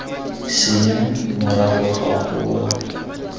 senya morago ga go wa